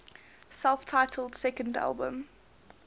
self titled second album